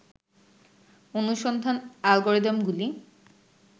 অনুসন্ধান অ্যালগোরিদমগুলি